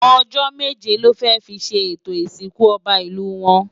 Ojò méjé lò fè fi ṣé étó Isinkú Òbá Ilú wòn